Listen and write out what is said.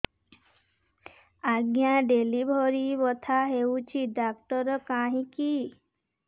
ଆଜ୍ଞା ଡେଲିଭରି ବଥା ହଉଚି ଡାକ୍ତର କାହିଁ କି